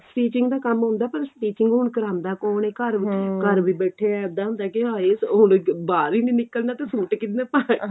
stitching ਦਾ ਕੰਮ ਆਉਂਦਾ ਪਰ stitching ਹੁਣ ਕਰਉਂਦਾ ਕੋਣ ਏ ਘਰ ਵਿੱਚ ਘਰ ਵੀ ਬੈਠੇ ਆ ਬੈਠੇ ਇੱਦਾਂ ਹੁੰਦਾ ਕੀ ਹਾਏ ਹੁਣ ਬਾਹਰ ਹੀ ਨਹੀਂ ਨਿਕਲਣਾ ਤੇ ਸੂਟ ਕਿਹਨੇ ਪਾਣੇ